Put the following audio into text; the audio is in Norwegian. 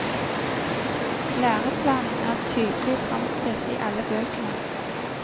Læreplanen er tydelig framstilt i alle bøkene.